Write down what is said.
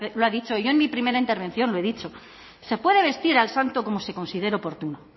lo ha dicho yo en mi primera intervención lo he dicho se puede vestir al santo como se considere oportuno